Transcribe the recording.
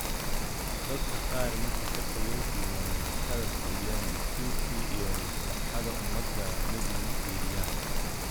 Dadka kaar marka xilka loodibo mamlakadha fiiriyan destuurki iyo maslahadha ummada mid na mafiriyaan.